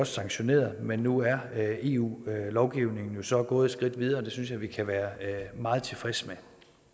sanktioneret men nu er eu lovgivningen så gået et skridt videre og det synes jeg vi kan være meget tilfredse med